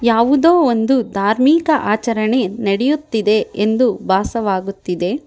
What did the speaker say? ಯಾವುದೊ ಒಂದು ಧಾರ್ಮಿಕ ಆಚಾರಣೆ ನಡಿಯುತ್ತಿದೆ ಎಂದು ಬಾಸವಾಗುತ್ತಿದೆ.